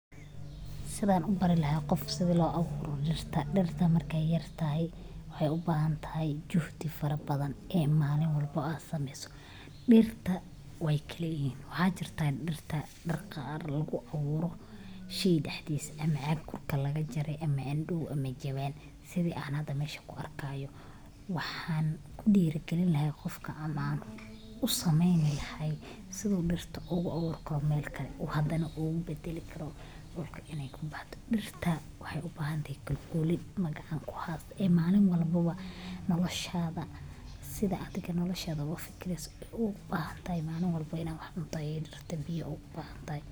Sidhan u bari lahaa sidhaa loo abuuro dhirta. Dhirta abuurkeedu waa hawl muhiim ah oo bilaabmaysa marka la diyaariyo abuur wanaagsan iyo carro tayo leh. Marka hore, waxaa la doortaa abuurka nooca la rabo in la beero sida yaanyo, basasha, geed miro leh ama ubax. Kadib waxaa lagu tallaalaa meel diyaar ah sida dhul la qoday ama jawaan carro lagu shubay.